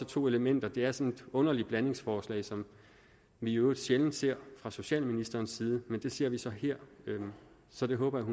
to elementer det er sådan et underligt blandingsforslag som vi i øvrigt sjældent ser fra socialministerens side men det ser vi så her så det håber jeg